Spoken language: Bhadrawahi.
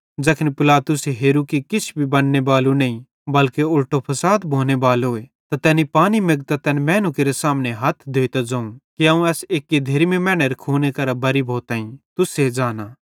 ज़ैखन पिलातुसे हेरू कि किछ भी बन्ने बालू नईं बल्के उलटो फसाद भोने बालोए त तैनी पानी मेगतां तैन मैनू केरे सामने हथ धोए ते ज़ोवं कि अवं एस एक्की धेर्मी मैनेरे खूने करां बरी भोइताईं तुसे ज़ांना